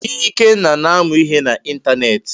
Ikenna na-amụ ihe na ịntanetị.